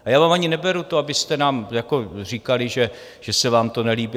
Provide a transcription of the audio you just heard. A já vám ani neberu to, abyste nám říkali, že se vám to nelíbí.